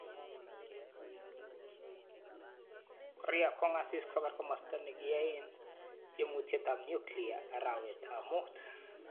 Korea kong'asis koker komasta ne kiyae tiemutiet nyuklia arawetab mut.